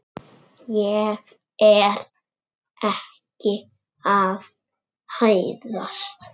Ég er ekki að hæðast.